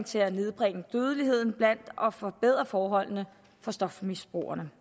til at nedbringe dødeligheden blandt og forbedre forholdene for stofmisbrugere